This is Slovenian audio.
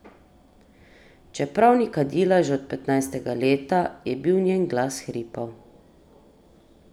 Čeprav ni kadila že od petnajstega leta, je bil njen glas hripav.